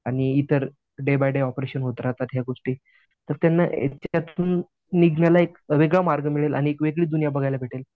आणि इतर day by day operation होत राहतात या गोष्टी. तर त्यांना त्यातून निघण्याला एक वेगळं मार्ग भेटेल आणि एक वेगळी दुनिया बघायला मिळेल.